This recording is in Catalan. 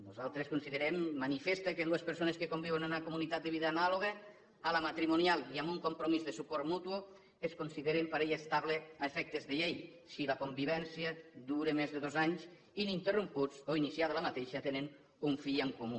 nosaltres considerem manifest que dues persones que conviuen en una comunitat de vida anàloga a la matrimonial i amb un compromís de suport mutu es consideren parella estable a efectes de llei si la convivència dura més de dos anys ininterromputs o iniciada aquesta tenen un fill en comú